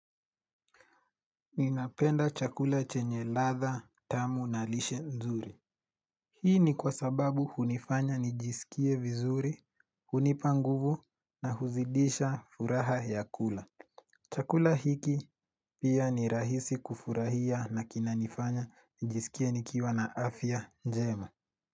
Ninapenda chakula chenye latha tamu na lishi nzuri. Hii ni kwa sababu hunifanya nijisikie vizuri, hunipa nguvo na huzidisha furaha ya kula. Chakula hiki pia ni rahisi kufurahia na kinanifanya nijisikie nikiwana afya njema.